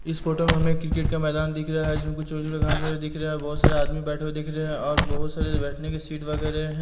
इस फोटो में हमें क्रिकेट का मैदान दिख रहा है जिसमें कुछ छोटे-छोटे घास उगे दिख रहे है और बहोत सारे आदमी बैठे हुए दिख रहे हैं और बहोत सारे बैठने के सीट वगैरह है।